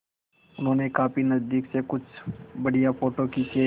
उन्होंने काफी नज़दीक से कुछ बढ़िया फ़ोटो खींचे